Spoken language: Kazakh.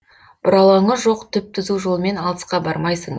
бұралаңы жоқ түп түзу жолмен алысқа бармайсың